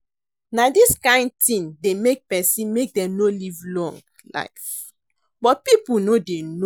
Na dis kin thing dey make person make dem no live long life but people no dey know